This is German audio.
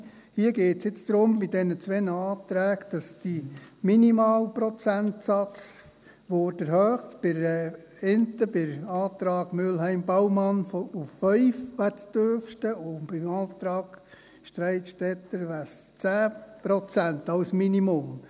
Bei diesen zwei Anträgen geht es darum, dass der Minimalprozentsatz erhöht würde – beim Antrag Mühlheim-Baumann auf 5 Prozent, das wäre das Tiefste, und beim Antrag Streit-Stetter wären es 10 Prozent als Minimum.